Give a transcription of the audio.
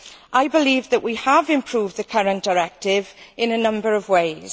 I believe that we have improved the current directive in a number of ways.